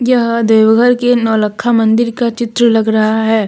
यह देवघर के नौलखा मंदिर का चित्र लग रहा है।